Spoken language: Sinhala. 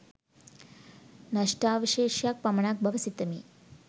නෂ්ඨාවශේෂයක් පමණක් බව සිතමි